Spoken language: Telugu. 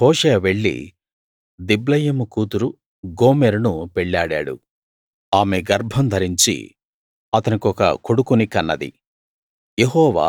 కాబట్టి హోషేయ వెళ్ళి దిబ్లయీము కూతురు గోమెరును పెళ్ళాడాడు ఆమె గర్భం ధరించి అతనికొక కొడుకుని కన్నది